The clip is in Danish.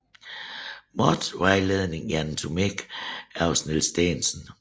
Moth vejledning i anatomi hos Niels Stensen